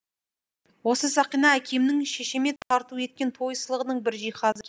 осы сақина әкемнің шешеме тарту еткен той сыйлығының бір жиһазы